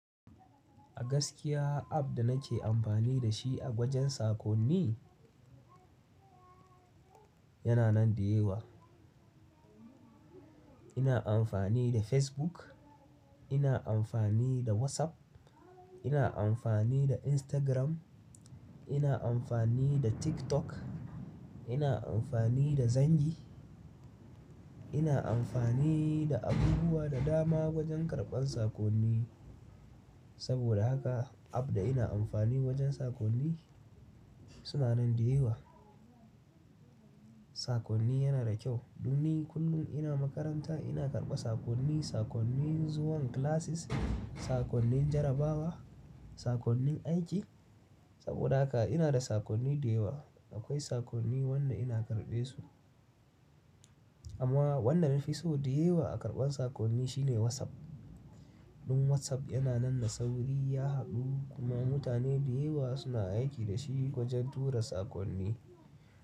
A gaskiya app da nake amfani da shi gojen sakonni yana nan da yawa. Ina amfani da Facebook, ina amfani da WhatsApp, ina amfani da Instagram, ina amfani da TikTok, ina amfani da Zangi. Ina amfani da abubuwa da dama wajen karɓar sakonni. Saboda haka app da ina amfani wajen sakonni suna nan da yawa. Sakonni yana da kyau. Ɗon ni kullum ina makaranta ina karɓa sakonni, sakonnin zuwan classes, sakonnin jarrabawa, sakonnin aiki. Saboda haka ina da sakonni da yawa. Akwai sakonni wannan ina karɓe su. Amma wannan nafi so da yawa a karɓar sakonni shine WhatsApp. Ɗin WhatsApp yana nan da sauri, ya haɗu kuma mutane da yawa suna aiki da shi wajen tura sakonni.